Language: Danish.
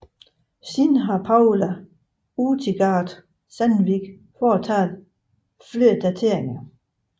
Senere har Paula Utigard Sandvik foretaget flere dateringer